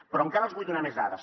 però encara els vull donar més dades